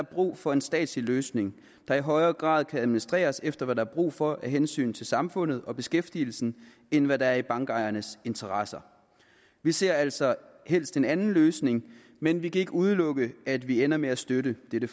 brug for en statslig løsning der i højere grad kan administreres efter hvad der er brug for af hensyn til samfundet og beskæftigelsen end hvad der er i bankejernes interesser vi ser altså helst en anden løsning men vi kan ikke udelukke at vi ender med at støtte dette